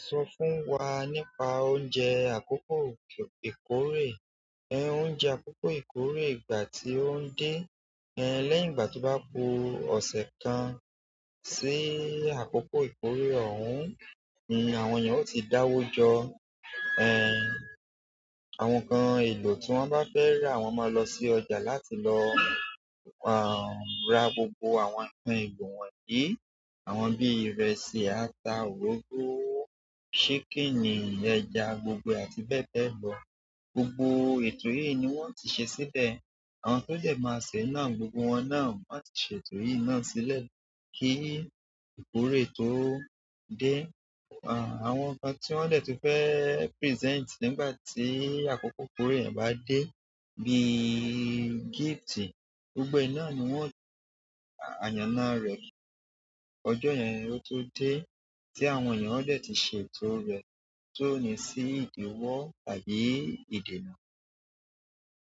Sọ fún wa nípa oúnjẹ àkókò ìkórè. Oúnjẹ akoko ìkórè ìgbà ti oun de. Leyi ìgbà to ba ku ose kan si akoko ìkórè oun ni àwọn eyan oti dawo jo. Àwọn nǹkan èlò tí wọ́n bá fẹ́ rà, wọ́n máa lọ sí ọjà láti lọ à ra gbogbo àwọn nǹkan èlò wọ̀nyí. Àwọn bí ìrẹsì, ata, òróró, ṣíkìnì, ẹja, gbogbo àti bẹ́ẹ̀ bẹ́ẹ̀ lọ. Gbogbo ètò yi ni wo n ti se sile. Àwọn tó dẹ̀ máa ṣe náà gbogbo wọn náà máa ti ṣe ètò yìí náà sílẹ̀ kí ìkórè tó dé. Àwọn nǹkan tí wọ́n dẹ̀ ti fẹ́ present nígbà tí àkókò ìkórè yẹn bá dé bí gifts, gbogbo ìná ni wọ́n yàn àyànna rẹ̀. Ọjọ́ yẹn ló tó dé tí àwọn ènìyàn ó dẹ̀ ti ṣe ètò rẹ̀ tó ní sí ìdìwọ́ àbí ìdenaa.